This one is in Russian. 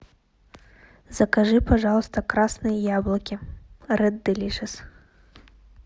закажи пожалуйста красные яблоки ред делишес